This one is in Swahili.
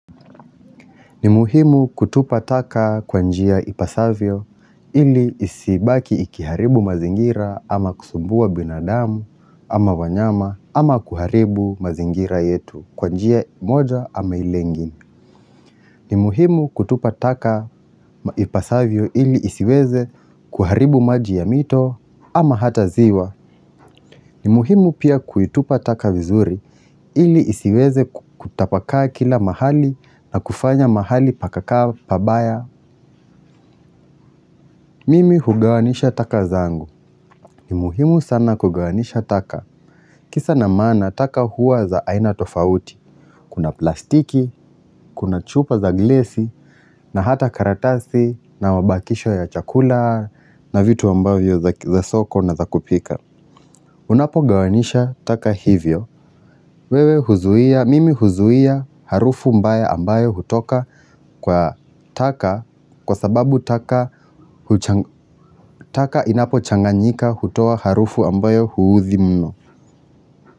Ni muhimu kutupa taka kwa njia ipasavyo ili isibaki ikiharibu mazingira ama kusumbua binadamu ama wanyama ama kuharibu mazingira yetu kwa njia moja ama ile ingine. Ni muhimu kutupa taka ipasavyo ili isiweze kuharibu maji ya mito ama hata ziwa. Ni muhimu pia kuitupa taka vizuri, ili isiweze kutapakaa kila mahali na kufanya mahali pakakaa pabaya. Mimi hugawanisha taka zangu. Ni muhimu sana kugawanisha taka. Kisa na mana taka huwa za aina tofauti. Kuna plastiki, kuna chupa za glesi, na hata karatasi, na mabakisho ya chakula, na vitu ambavyo za soko na za kupika. Unapo gawanisha taka hivyo, mimi huzuia harufu mbaya ambayo hutoka kwasababu taka inapochanganyika hutoa harufu ambayo huudhi mno.